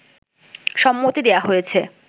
সম্মতি দেয়া হয়েছে